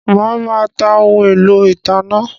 Mà á má ta ohun-èlò ìtanná